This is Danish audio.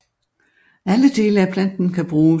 Alle dele af planten kan bruges